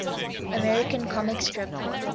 american comic strip